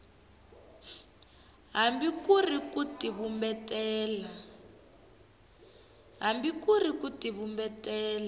hambi ku ri ku tivumbela